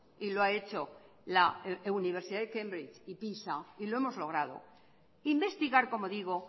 y lo ha hecho la universidad de cambrils y pisa y lo hemos logrado investigar como digo